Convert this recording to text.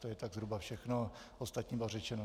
To je tak zhruba všechno, ostatní bylo řečeno.